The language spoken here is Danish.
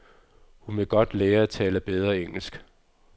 Hun vil godt lære at tale bedre engelsk.